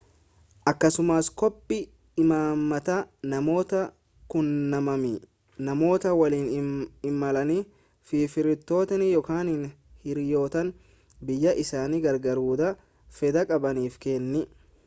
akkasumas koppii imaammataa/namoota quunnamamanii namoota waliin imalanii fi firoottanii ykn hiriyoottan biyyaa isaan gargaaruudhaaf fedha qabaniif kenni